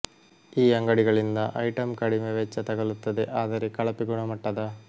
ಈ ಅಂಗಡಿಗಳಿಂದ ಐಟಂ ಕಡಿಮೆ ವೆಚ್ಚ ತಗಲುತ್ತದೆ ಆದರೆ ಕಳಪೆ ಗುಣಮಟ್ಟದ